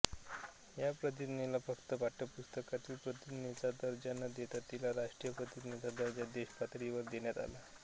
ह्य प्रतिज्ञेला फक्त पाठ्यपुस्तकांतील प्रतिज्ञेचा दर्जा न देता तिला राष्ट्रीय प्रतिज्ञेचा दर्जा देशपातळीवर देण्यात आला